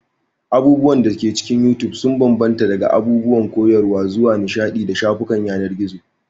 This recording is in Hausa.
Abubuwan da ke cikin You Tube sun bambanta daga abubuwan koyarwa zuwa nishaɗi da shafukan yanar gizo.